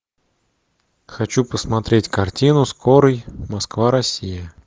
хочу посмотреть картину скорый москва россия